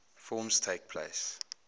forms takes place